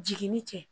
Jigini cɛ